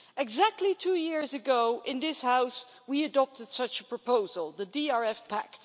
Exactly two years ago in this House, we adopted such a proposal the DRF Pact.